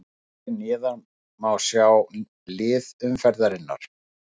Hér neðar má svo sjá lið umferðarinnar.